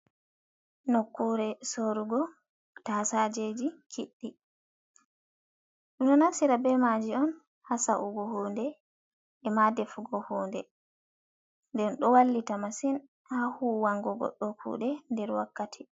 Nokuure sorugo tasajeji kiɗɗi ɗum ɗo naftira ɓe maaji on ha sa’ugo hunde ema ɗefugo hunde nden ɗo wallita masin ha hwango goɗɗo kuɗe nder wakkati.